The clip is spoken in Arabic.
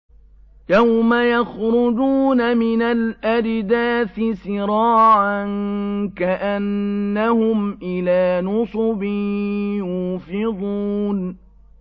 يَوْمَ يَخْرُجُونَ مِنَ الْأَجْدَاثِ سِرَاعًا كَأَنَّهُمْ إِلَىٰ نُصُبٍ يُوفِضُونَ